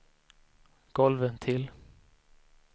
golvventil